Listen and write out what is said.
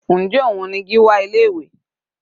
Njẹ́ òun ni Gíwá ilé ìwé?